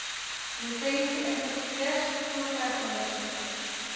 lisensie inspekteurs voertuigondersoekers